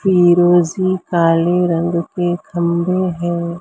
फिरोजी काले रंग के खंभे हैं।